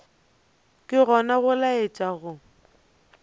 ke gona go laetša go